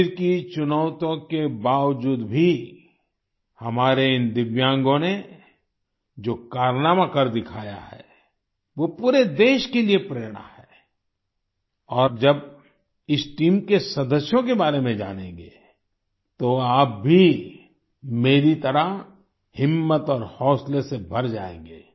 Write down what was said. शरीर की चुनौतियों के बावजूद भी हमारे इन दिव्यांगों ने जो कारनामा कर दिखाया है वो पूरे देश के लिए प्रेरणा है और जब इस टीम के सदस्यों के बारे में जानेंगे तो आप भी मेरी तरह हिम्मत और हौसले से भर जायेंगे